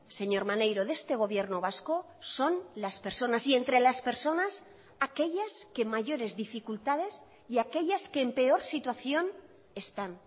señor maneiro de este gobierno vasco son las personas y entre las personas aquellas que mayores dificultades y aquellas que en peor situación están